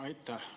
Aitäh!